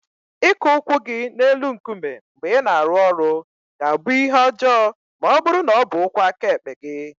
Ịkụ ụkwụ gị n'elu nkume mgbe ị na-arụ ọrụ ga-abụ ihe ọjọọ ma ọ bụrụ na ọ bụ ụkwụ aka ekpe gị.